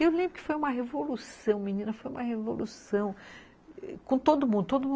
Eu lembro que foi uma revolução, menina, foi uma revolução com todo mundo.